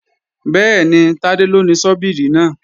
Bẹ́ẹ̀ni, Tádé ló ni ṣọ́bíìrì náà